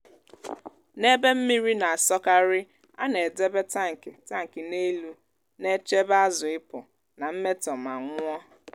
n’ebe mmiri na-asọkarị á nà edebe tankị tankị n'elu na-echebe azụ ipụ̀ nà mmétọ ma nwụọ́